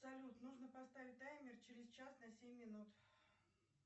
салют нужно поставить таймер через час на семь минут